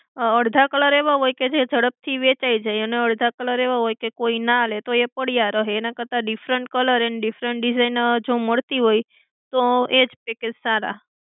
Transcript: અડધા colour એવા હોય કે જે જડપથી વેહચાઈ જાય અને અડધા colour એવા હોય કે કોઈ ના લે પડ્યા રહે એના કરતાં different colour and different design જો મળતી હોય તો એ જ package સારા.